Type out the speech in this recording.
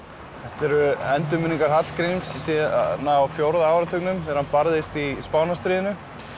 eru endurminningar Hallgríms síðan á fjórða áratugnum þegar hann barðist í Spánarstríðinu